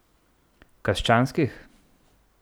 Krščanskih ?